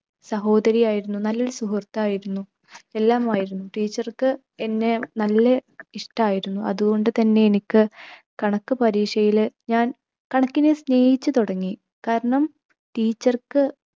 സഹോദരിയായിരുന്നു, നല്ലൊരു സുഹൃത്തായിരുന്നു, എല്ലാമായിരുന്നു. teacher ക്ക് എന്നെ നല്ല ഇഷ്ടായിരുന്നു. അതുകൊണ്ട് തന്നെ എനിക്ക് കണക്ക് പരീക്ഷയിൽ ഞാൻ കണക്കിനെ സ്നേഹിച്ചു തുടങ്ങി കാരണം teacher ക്ക്